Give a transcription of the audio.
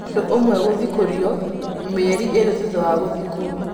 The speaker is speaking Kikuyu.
Mũndũ ũmwe gũthikũrio mĩeri ĩrĩ thutha wa gũthikwo.